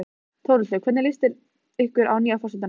Þórhildur: Hvernig líst ykkur að nýja forsetann okkar?